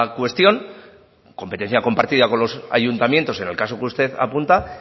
cuestión competencia compartida con los ayuntamientos en el caso que usted apunta